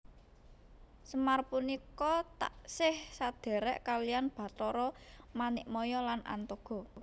Semar punika taksih sadhèrèk kaliyan Batara Manikmaya lan Antogo